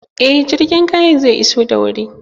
Eh, jirgin kayan zai iso da wuri